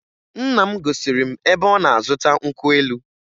Nna m gosiri m ebe ọ na-azụta nkwụ elu